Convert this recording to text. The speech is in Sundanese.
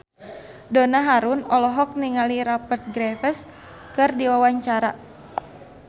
Donna Harun olohok ningali Rupert Graves keur diwawancara